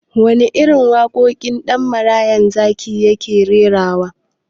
Waɗanne irin waƙoƙi Ɗan marayan zaki ke rerawa?